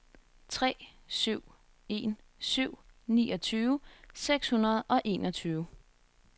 tre syv en syv niogtyve seks hundrede og enogtyve